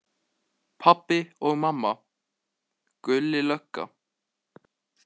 Pabbi og mamma, Gulli lögga.